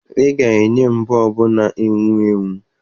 Ị ga-enye m bọọbụ na-enwu enwu!